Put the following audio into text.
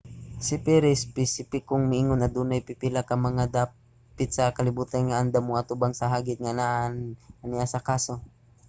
si perry espesipikong miingon adunay pipila ka mga dapit sa kalibutan nga andam mo-atubang sa hagit nga anaa ania sa kaso.